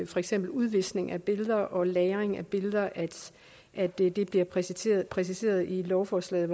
for eksempel udviskning af billeder og lagring af billeder og at det bliver præciseret præciseret i lovforslaget